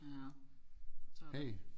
Ja så